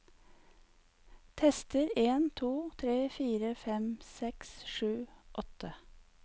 Tester en to tre fire fem seks sju åtte